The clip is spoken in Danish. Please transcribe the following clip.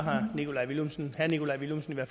at